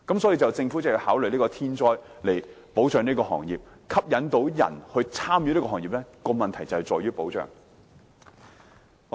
所以，政府要考慮設立天災保障機制保障這個行業；要吸引人加入這個行業，關鍵正在於保障。